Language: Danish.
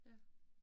Ja